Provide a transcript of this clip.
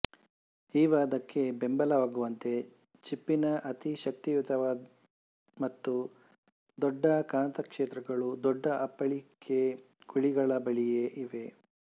ಈ ವಾದಕ್ಕೆ ಬೆಂಬಲವಾಗುವಂತೆ ಚಿಪ್ಪಿನ ಅತಿ ಶಕ್ತಿಯುತ ಮತ್ತು ದೊಡ್ಡ ಕಾಂತಕ್ಷೇತ್ರಗಳು ದೊಡ್ಡ ಅಪ್ಪಳಿಕೆ ಕುಳಿಗಳ ಬಳಿಯೇ ಇವೆ